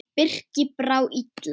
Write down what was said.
Birki brá illa.